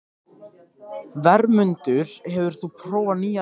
Vermundur, hefur þú prófað nýja leikinn?